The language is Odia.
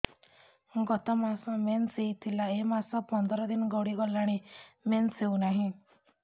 ଗତ ମାସ ମେନ୍ସ ହେଇଥିଲା ଏ ମାସ ପନ୍ଦର ଦିନ ଗଡିଗଲାଣି ମେନ୍ସ ହେଉନାହିଁ